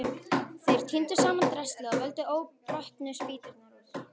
Þeir tíndu saman draslið og völdu óbrotnu spýturnar úr.